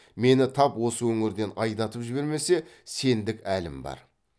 мені тап осы өңірден айдатып жібермесе сендік әлім бар